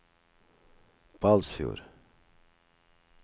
Balsfjord